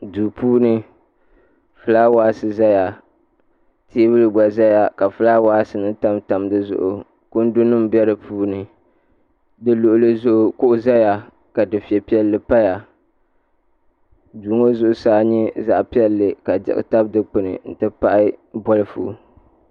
Duu puuni fulaawaasi ʒɛya teebuli gba ʒɛya ka fulaawaasi ŋo tamtam dizuɣu kundi nim bɛ di puuni di luɣuli zuɣu kuɣu ʒɛya ka dufɛ piɛlli paya duu ŋo zuɣusaa nyɛ zaɣ piɛlli ka diɣi tabi dikpuni n ti pahi bolfu